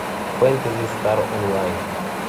фэнтези стар онлайн